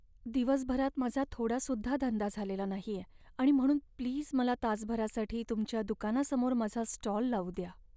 दिवसभरात माझा थोडासुद्धा धंदा झालेला नाहीये आणि म्हणून प्लीज मला तासभरासाठी तुमच्या दुकानासमोर माझा स्टॉल लावू द्या.